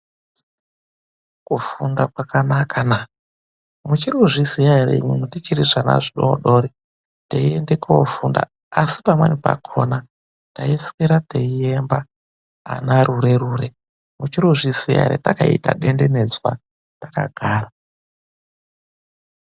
Kufunda kwakanaka naa! muchiri kuzviziya ere tichiri zvana zvidodori teienda koofunda asi pamweni pakhona taiswera teiemba rure-rure?. Muchiri kuzviziya ere takaita denderedzwa takagara.